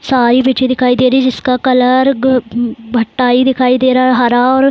सारी पिक्चर दिखाई दे रही जिसका कलर ग भ भटाई दिखाई दे रहा हरा।